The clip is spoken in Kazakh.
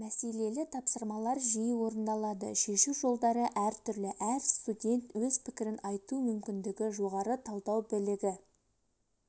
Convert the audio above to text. мәселелі тапсырмалар жиі орындалады шешу жолдары әртүрлі әр студент өз пікірін айту мүмкіндігі жоғары талдау білігі